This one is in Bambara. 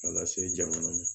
A lase jamana ma